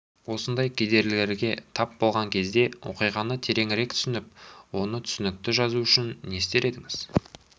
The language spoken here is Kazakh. осындай кедергілерге тап болған кезде оқиғаны тереңірек түсініп оны түсінікті жазу үшін не істер едіңіз